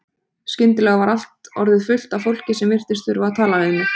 Skyndilega var allt orðið fullt af fólki sem virtist þurfa að tala við mig.